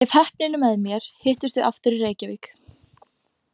Ef heppnin er með mér hittumst við aftur í Reykjavík.